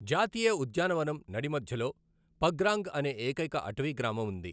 జాతీయ ఉద్యానవనం నడి మధ్యలో పగ్రాంగ్ అనే ఏకైక అటవీ గ్రామం ఉంది.